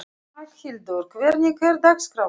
Magnhildur, hvernig er dagskráin?